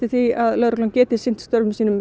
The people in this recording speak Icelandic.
því að lögreglan geti sinnt störfum sínum